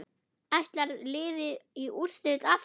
Ætlar liðið í úrslit aftur?